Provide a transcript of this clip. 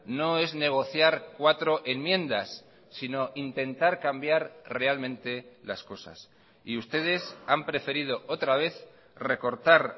no es negociar cuatro enmiendas sino intentar cambiar realmente las cosas y ustedes han preferido otra vez recortar